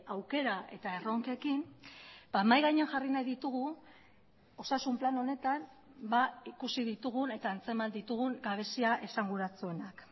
aukera eta erronkekin mahai gainean jarri nahi ditugu osasun plan honetan ikusi ditugun eta antzeman ditugun gabezia esanguratsuenak